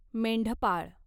मेंढपाळ